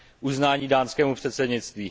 Uznání dánskému předsednictví.